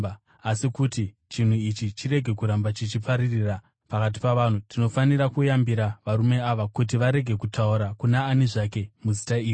Asi kuti chinhu ichi chirege kuramba chichipararira pakati pavanhu, tinofanira kuyambira varume ava kuti varege kutaura kuna ani zvake muzita iri.”